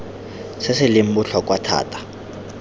se se leng botlhokwa thata